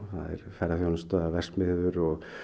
ferðaþjónusta verksmiðjur og